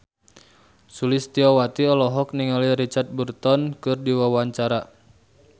Sulistyowati olohok ningali Richard Burton keur diwawancara